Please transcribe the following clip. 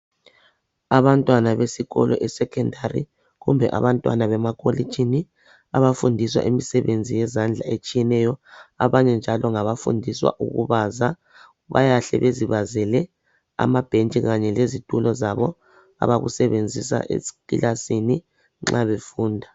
Abantwana besikolo esecondary kumbe abantwana bema kolitshini abafundiswa imisebenzi yezandla etshiyeneyo. Abanye njalo ngabafundiswa ukubaza .Bayahle bezibazale amabhentshi kanye lezitulo zabo abakusebenzisa ekilasini nxa befunda .